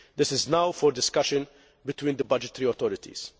This is now for discussion between the budgetary authorities.